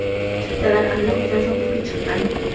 Chiptalar allaqachon sotuvga chiqqan.